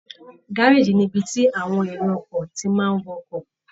Gárèjì ni ibi tí àwọn èrò ọkọ̀ ti máa ń wọ ọkọ̀